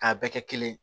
K'a bɛɛ kɛ kelen ye